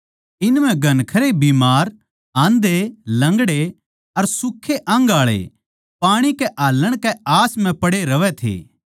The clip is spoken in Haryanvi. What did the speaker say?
इन म्ह घणखरे बीमार आंधे लंगड़े अर सुखे अंगआळे पाणी कै हाल्लण कै आस म्ह पड़े रहवै थे